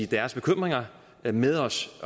deres bekymringer med os